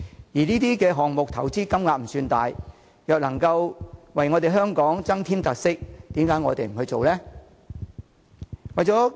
事實上，這些項目的投資金額並不算大，若能為香港增添特色，又何樂而不為呢？